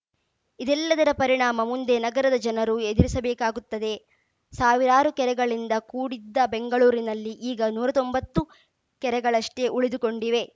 ಇದೆಲ್ಲದರ ಪರಿಣಾಮ ಮುಂದೆ ನಗರದ ಜನರು ಎದುರಿಸಬೇಕಾಗುತ್ತದೆ ಸಾವಿರಾರು ಕೆರೆಗಳಿಂದ ಕೂಡಿದ್ದ ಬೆಂಗಳೂರಿನಲ್ಲಿ ಈಗ ನೂರ ತೊಂಬತ್ತು ಕೆರೆಗಳಷ್ಟೇ ಉಳಿದುಕೊಂಡಿವೆ